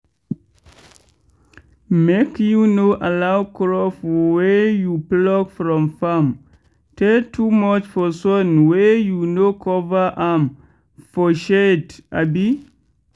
make you no allow crop wey you pluck from farm tey too much for sun wey you no cover am for shade abi.